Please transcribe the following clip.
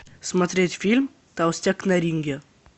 смотреть фильм толстяк на ринге